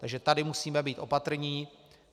Takže tady musíme být opatrní.